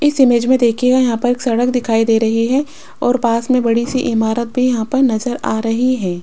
इस इमेज में देखिए यहां पर एक सड़क दिखाई दे रही है और पास में बड़ी सी इमारत भी यहां पर नजर आ रही है।